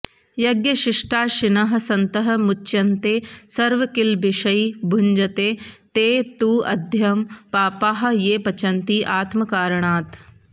यज्ञशिष्टाशिनः सन्तः मुच्यन्ते सर्वकिल्बिषैः भुञ्जते ते तु अघं पापाः ये पचन्ति आत्मकारणात्